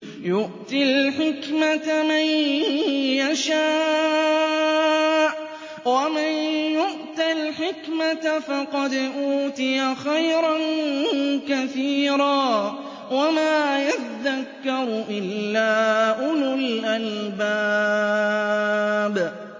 يُؤْتِي الْحِكْمَةَ مَن يَشَاءُ ۚ وَمَن يُؤْتَ الْحِكْمَةَ فَقَدْ أُوتِيَ خَيْرًا كَثِيرًا ۗ وَمَا يَذَّكَّرُ إِلَّا أُولُو الْأَلْبَابِ